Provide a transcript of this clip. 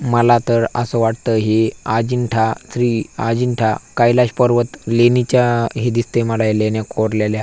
मला तर अस वाटत ही अजिंठा श्री अजिंठा कैलासपर्वत लेणीच्या हे दिसतय मला हे लेण्या कोरलेल्या.